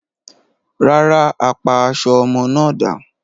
Rárá, a pa aṣọ ọmọ náà dà.